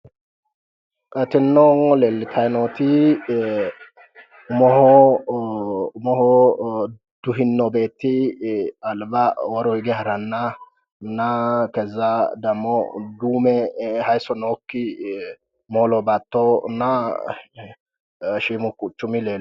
Tinino leelitayi nooti umoho duhino beeti alba woro hige haranana keza damo duume hayisso nooki moola baatona shiimu quchumi leelano